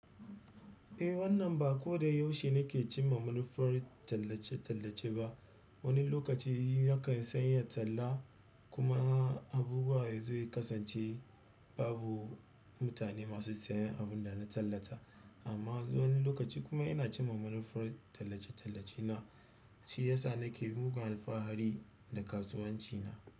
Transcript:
Eh wannan ba koda yaushe nake ci ma manufar tallace-tallace ba. Wani lokaci nakan sanya talla kuma abubuwa ya zo ya kasance babu mutane masu sayan abun da na tallata amma wani lokaci kuma ina ci ma manufar tallace-tallace na shi ya sa nake mugun alfahari da kasuwanci na.